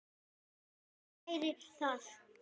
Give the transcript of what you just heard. Skárra væri það.